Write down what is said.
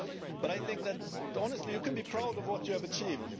But I think that, honestly, you can be proud of what you have achieved.